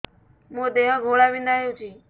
ମୋ ଦେହ ଘୋଳାବିନ୍ଧା ହେଉଛି